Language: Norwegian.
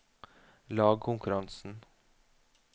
lagkonkurransen